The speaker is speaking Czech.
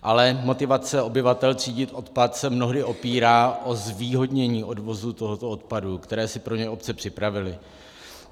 Ale motivace obyvatel třídit odpad se mnohdy opírá o zvýhodnění odvozu tohoto odpadu, který si pro ně obce připravily.